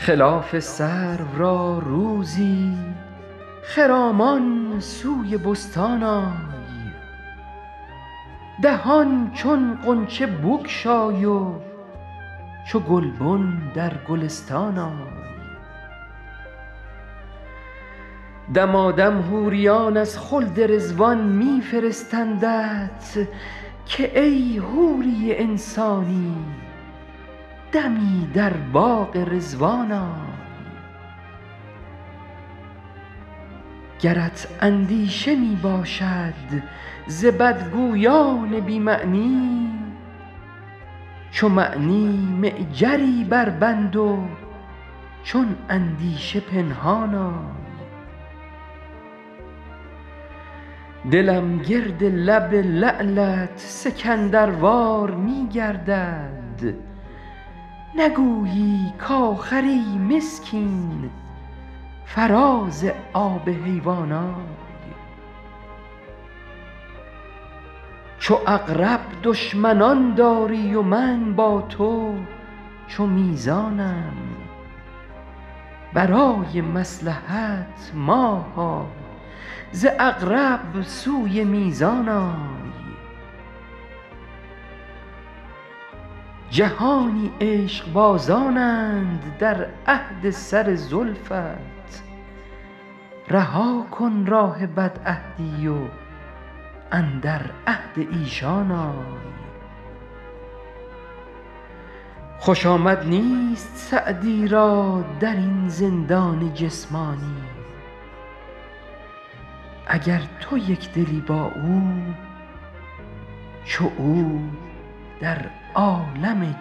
خلاف سرو را روزی خرامان سوی بستان آی دهان چون غنچه بگشای و چو گلبن در گلستان آی دمادم حوریان از خلد رضوان می فرستندت که ای حوری انسانی دمی در باغ رضوان آی گرت اندیشه می باشد ز بدگویان بی معنی چو معنی معجری بربند و چون اندیشه پنهان آی دلم گرد لب لعلت سکندروار می گردد نگویی کآخر ای مسکین فراز آب حیوان آی چو عقرب دشمنان داری و من با تو چو میزانم برای مصلحت ماها ز عقرب سوی میزان آی جهانی عشقبازانند در عهد سر زلفت رها کن راه بدعهدی و اندر عهد ایشان آی خوش آمد نیست سعدی را در این زندان جسمانی اگر تو یک دلی با او چو او در عالم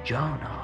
جان آی